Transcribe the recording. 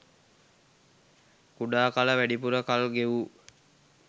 කුඩා කල වැඩිපුර කල් ගෙවූ